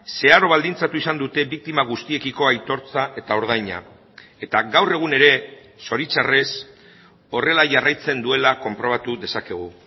zeharo baldintzatu izan dute biktima guztiekiko aitortza eta ordaina eta gaur egun ere zoritxarrez horrela jarraitzen duela konprobatu dezakegu